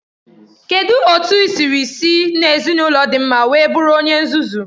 Kedụ otu i siri si n'ezinaụlọ dị mma wee bụrụ onye nzuzu?